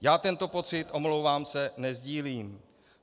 Já tento pocit, omlouvám se, nesdílím.